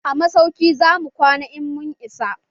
A masauki zamu kwana in mun isa.